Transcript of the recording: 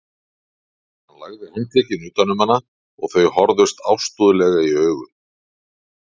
Hann lagði handlegginn utan um hana og þau horfðust ástúðlega í augu.